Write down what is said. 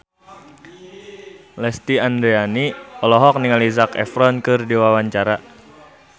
Lesti Andryani olohok ningali Zac Efron keur diwawancara